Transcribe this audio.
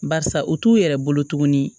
Barisa u t'u yɛrɛ bolo tuguni